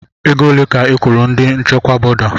Ego ole ka ị kwụrụ ndi nchịkwa bọda?